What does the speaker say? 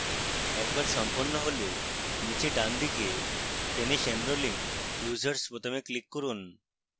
একবার সম্পন্ন হলে নীচে ডানদিকে finish enrolling users বোতামে click করুন